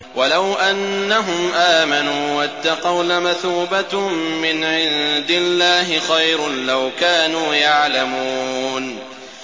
وَلَوْ أَنَّهُمْ آمَنُوا وَاتَّقَوْا لَمَثُوبَةٌ مِّنْ عِندِ اللَّهِ خَيْرٌ ۖ لَّوْ كَانُوا يَعْلَمُونَ